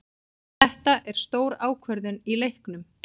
Þetta er stór ákvörðun í leiknum.